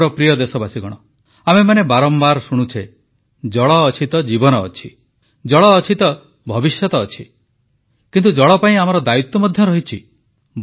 ମୋର ପ୍ରିୟ ଦେଶବାସୀଗଣ ଆମେମାନେ ବାରମ୍ବାର ଶୁଣୁଛେ ଜଳ ଅଛି ତ ଜୀବନ ଅଛି ଜଳ ଅଛି ତ ଭବିଷ୍ୟତ ଅଛି କିନ୍ତୁ ଜଳ ପାଇଁ ଆମର ଦାୟିତ୍ୱ ମଧ୍ୟ ରହିଛି